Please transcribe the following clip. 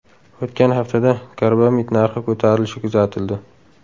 O‘tgan haftada karbamid narxi ko‘tarilishi kuzatildi .